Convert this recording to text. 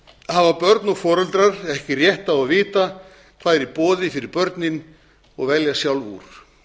hafa börn og foreldrar ekki rétt á að vita hvað er í boði fyrir börnin og velja sjálf úr